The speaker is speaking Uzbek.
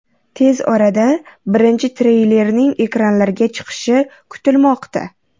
Tez orada birinchi treylerning ekranlarga chiqishi kutilmoqda.